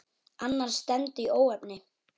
Annars stefndi í óefni.